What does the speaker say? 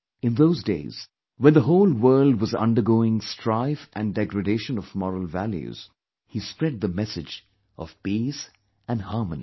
In those days, when the whole world was undergoing strife and degradation of moral values, he spread the message of peace & harmony